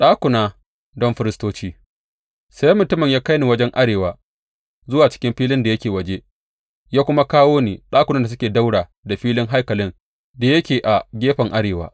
Ɗakuna don firistoci Sai mutumin ya kai ni wajen arewa zuwa cikin filin da yake waje ya kuma kawo ni ɗakunan da suke ɗaura da filin haikalin da yake a gefen arewa.